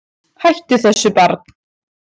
Hættu þessu barn!